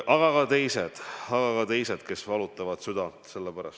Aga on ka teised teadlased, kes praegu südant valutavad.